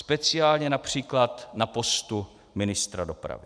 Speciálně například na postu ministra dopravy.